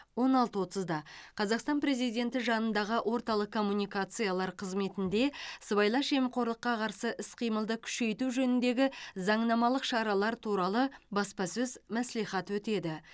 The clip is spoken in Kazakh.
он алты отызда қазақстан президенті жанындағы орталық коммуникациялар қызметінде сыбайлас жемқорлыққа қарсы іс қимылды күшейту жөніндегі заңнамалық шаралар туралы баспасөз мәслихаты өтеді